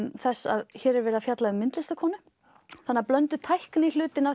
þess að hér er verið að fjalla um myndlistarkonu þannig að blönduð tækni hlutinn af